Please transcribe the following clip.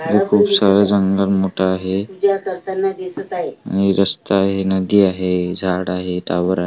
इथं खूप सारे जंगल मोठं आहे आणि रस्ता आहे नदी आहे झाड आहे टॉवर आ --